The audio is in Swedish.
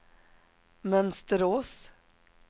Mönsterås